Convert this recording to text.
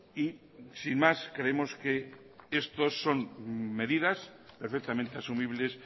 y sin más creemos que esto son medidas perfectamente asumibles